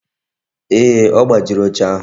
Ee, ọ gbajiri oche ahụ